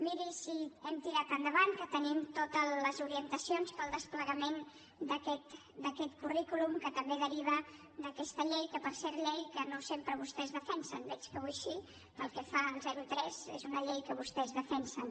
miri si hem tirat endavant que tenim totes les orientacions per al desplegament d’aquest currículum que també deriva d’aquesta llei que per cert llei que no sempre vostès defensen veig que avui sí pel que fa al zero tres és una llei que vostès defensen